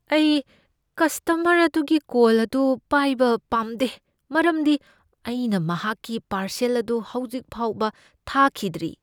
ꯑꯩ ꯀꯁꯇꯃꯔ ꯑꯗꯨꯒꯤ ꯀꯣꯜ ꯑꯗꯨ ꯄꯥꯏꯕ ꯄꯥꯝꯗꯦ ꯃꯔꯝꯗꯤ ꯑꯩꯅ ꯃꯍꯥꯛꯀꯤ ꯄꯥꯔꯁꯦꯜ ꯑꯗꯨ ꯍꯧꯖꯤꯛ ꯐꯥꯎꯕ ꯊꯥꯈꯤꯗ꯭ꯔꯤ ꯫